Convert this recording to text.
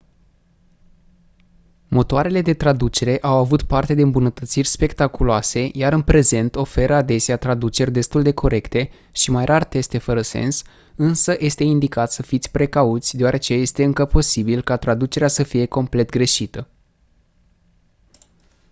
motoarele de traducere au avut parte de îmbunătățiri spectaculoase iar în prezent oferă adesea traduceri destul de corecte și mai rar teste fără sens însă este indicat să fiți precauți deoarece este încă posibil ca traducerea să fie complet greșită